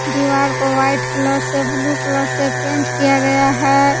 दीवार को white colour से ब्लू कलर से पेंट किया गया है।